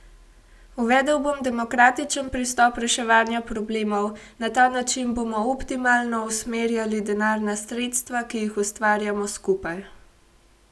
Uvedel bom demokratičen pristop reševanja problemov, na ta način bomo optimalno usmerjali denarna sredstva, ki jih ustvarjamo skupaj.